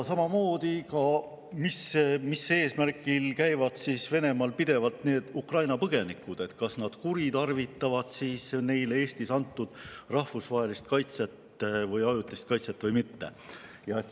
Samuti soovime teada, mis eesmärgil käivad Venemaal pidevalt Ukraina põgenikud, kas nad kuritarvitavad neile Eestis antud rahvusvahelist kaitset või ajutist kaitset või mitte.